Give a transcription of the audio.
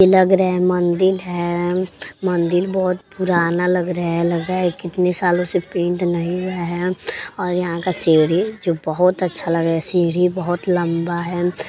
ई लग रै मंदिल है। मंदिल बोहोत पुराना लग रहा है। लग रै कितने सालों से पेंट नहीं हुआ है और यहाँ का सीढ़ी जो बहोत अच्छा लगै। सीढ़ी बहोत लम्बा है।